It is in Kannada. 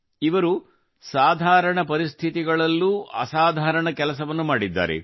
ಇವರು ಸಾಧಾರಣ ಪರಿಸ್ಥಿತಿಗಳಲ್ಲೂ ಅಸಾಧಾರಣ ಕೆಲಸವನ್ನು ಮಾಡಿದ್ದಾರೆ